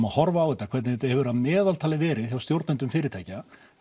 að horfa á þetta hvernig þetta hefur verið að meðaltali hjá stjórnendum fyrirtækja